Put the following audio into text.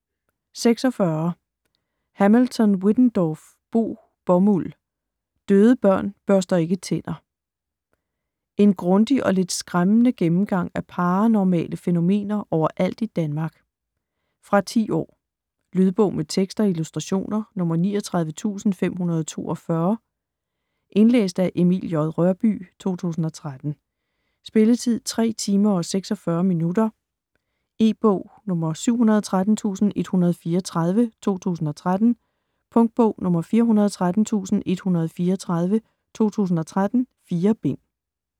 46 Hamilton-Wittendorff, Bo Bomuld: Døde børn børster ikke tænder En grundig og lidt skræmmende gennemgang af paranormale fænomener overalt i Danmark. Fra 10 år. Lydbog med tekst og illustrationer 39542 Indlæst af Emil J. Rørbye, 2013. Spilletid: 3 timer, 46 minutter. E-bog 713134 2013. Punktbog 413134 2013. 4 bind.